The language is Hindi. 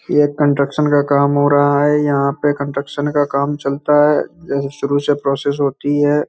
ये कंस्ट्रक्शन का कम हो रहा है यहाँ पे कंस्ट्रक्शन का कम चलता है शुरू से प्रोसेस होती है।